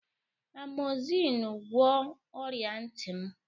Amozinu gwọọ ọrịa ntị m.